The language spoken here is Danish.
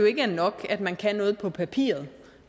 ikke er nok at man kan noget på papiret